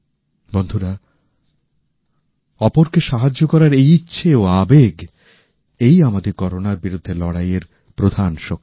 বন্ধুরা অপরকে সাহায্য করার এই ইচ্ছে ও আবেগ এই আমাদের করোনার বিরুদ্ধে লড়াই এর প্রধান শক্তি